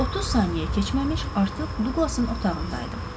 Heç 30 saniyə keçməmiş artıq Duqlasın otağındaydım.